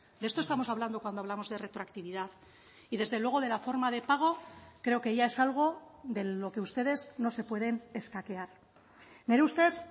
de esto estamos hablando cuando hablamos de retroactividad y desde luego de la forma de pago creo que ya es algo de lo que ustedes no se pueden escaquear nire ustez